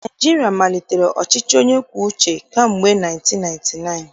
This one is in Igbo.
Naịjirịa malitere ọchịchị onye kwuo uche kamgbe 1999